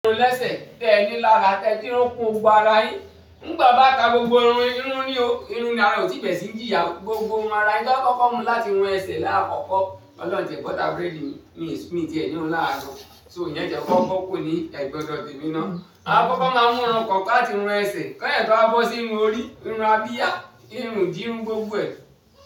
Irun lẹ́sẹ̀ tẹ́ ẹni lára tẹ ti irun kún gbogbo ara yín. Nígbà bá ta gbogbo irun, irun ni o, irun ni a kò ti bèèrè sí jíyà. Gbogbo irun ara yín tí wọ́n kọ́kọ́ mú láti irun ẹsẹ̀ láàkọ́kọ́. Ọlọ́run ti ẹ butter búrẹ́dì mi ti ẹ ní irun lára. So ìyẹn ti ẹ kọ́kọ́ bo kúrò ní ẹ̀gbẹ́ odọ̀ tẹ mi ná. A kọ́kọ́ máa mú irun kọ̀ọ̀kọ̀ láti wọn ẹsẹ̀. Kásẹ̀ tó wà bọ́ sí irun orí, irun abiya, irun ìdí, irun gbogbo ẹ.